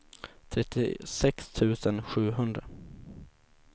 trettiosex tusen sjuhundra